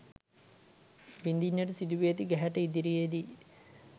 විඳින්නට සිදු වී ඇති ගැහැට ඉදිරියේ දී